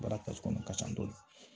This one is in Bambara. Baara kɔnɔ ka ca dɔɔni